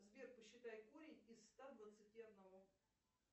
сбер посчитай корень из ста двадцати одного